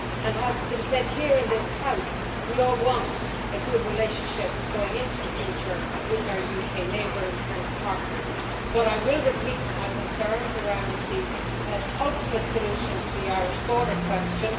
As has been said here in this House, we all want a good relationship going into the future with our UK neighbours and partners, but I will repeat my concerns around the ultimate solution to the Irish border question.